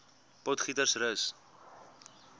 potgietersrus